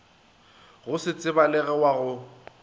go se tsebalege wa go